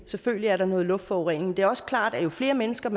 selvfølgelig er der noget luftforurening men det er også klart at jo flere mennesker